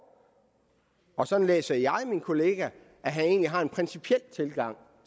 og sådan læser jeg min kollega at han egentlig har en principiel tilgang